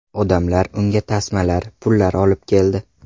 Odamlar unga tasmalar, pullar olib keldi.